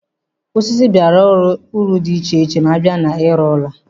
Osisi bara uru di iche iche ma abịa na-ịrụ ụlọ.